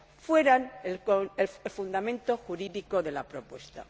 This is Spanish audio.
fueran el fundamento jurídico de la propuesta.